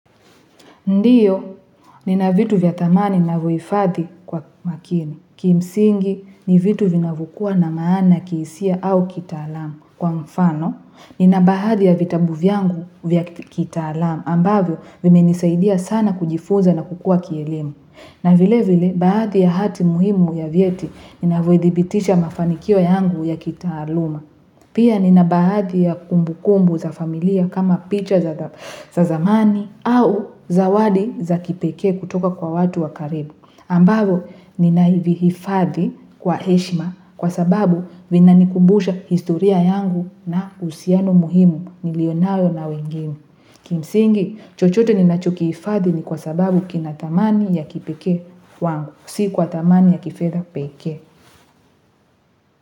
Ndiyo nina vitu vya thamani navivyofadhi kwa makini, kimsingi ni vitu vinavyokuwa na maana kihisia au kitaalamu kwa mfano. Nina baadhi ya vitabu vyangu vya kitaalamu ambavyo vimenisaidia sana kujifunza na kukuwa kielimu na vile vile baadhi ya hati muhimu ya vieti, ninavyothibitisha mafanikio yangu ya kitaaluma. Pia nina baadhi ya kumbukumbu za familia kama picha za zamani au zawadi za kipekee kutoka kwa watu wa karibu. Ambavyo ninahifadhi kwa heshima kwa sababu vina nikumbusha historia yangu na uhusiano muhimu nilionayo na wengine Kimsingi, chochote ninachokiifadhi ni kwa sababu kina thamani ya kipekee wangu, si kwa thamani ya kifedha pekee.